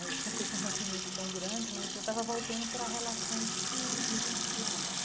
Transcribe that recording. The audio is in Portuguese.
Né eu tinha feito um rompimento tão grande, mas eu estava voltando para relações que existiam antes.